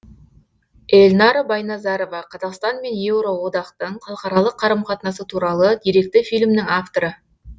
эльнара байназарова қазақстан мен еуроодақтың халықаралық қарым қатынасы туралы деректі фильмнің авторы